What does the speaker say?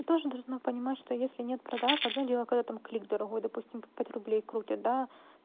тоже должна понимать что если нет продаж одно дело когда там клик дорогой допустим по пять рублей крутят да